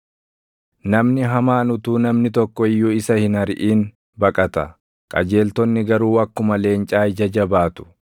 Namni hamaan utuu namni tokko iyyuu isa hin ariʼin baqata; qajeeltonni garuu akkuma leencaa ija jabaatu.